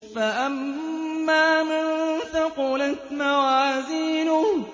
فَأَمَّا مَن ثَقُلَتْ مَوَازِينُهُ